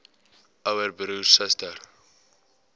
ouer broer suster